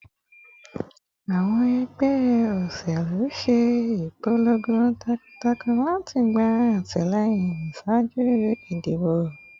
Awọn ẹgbẹ oṣelu ṣe ipolongo takuntakun lati gba atilẹyin ṣaaju idibo